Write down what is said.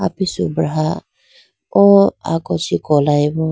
apisu braha oo ako chi kolayi bo.